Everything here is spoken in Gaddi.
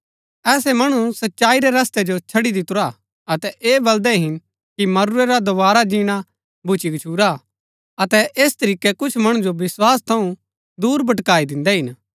ऐसै मणु सच्चाई रै रस्तै जो छड़ी दितुरा हा अतै ऐह बलदै हिन कि मरूरै रा दोवारा जीणा भुच्‍ची गछूरा हा अतै ऐस तरीकै कुछ मणु जो विस्वास थऊँ दूर भटकाई दिन्दै हिन